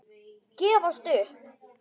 Gefast upp!